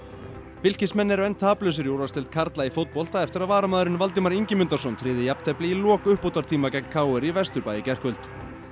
Fylkismenn eru enn taplausir í úrvalsdeild karla í fótbolta eftir að varamaðurinn Valdimar Ingimundarson tryggði þeim jafntefli í lok uppbótartíma gegn k r í Vesturbænum í gærkvöld